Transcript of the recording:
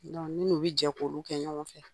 ne n'u be jɛ k'olu kɛ ɲɔgɔn fɛ.